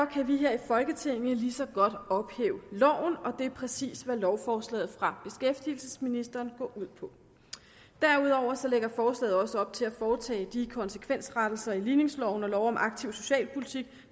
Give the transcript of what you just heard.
kan vi her i folketinget lige så godt ophæve loven og det er præcis hvad lovforslaget fra beskæftigelsesministeren går ud på derudover lægger forslaget også op til at foretage de konsekvensrettelser i ligningsloven og lov om aktiv socialpolitik